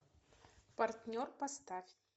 партнер поставь